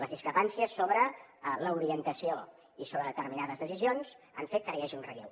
les discrepàncies sobre l’orientació i sobre determinades decisions han fet que ara hi hagi un relleu